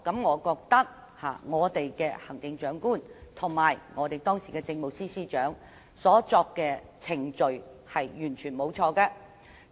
我覺得行政長官及時任政務司司長所跟隨的程序完全沒有錯。